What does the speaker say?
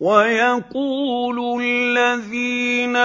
وَيَقُولُ الَّذِينَ